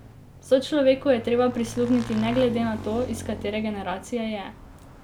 Sočloveku je treba prisluhniti ne glede na to, iz katere generacije je.